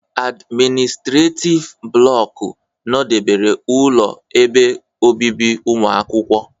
admịnịstretif blọku nọdebere ụlọ ebe obibi ụmụakwụkwọ.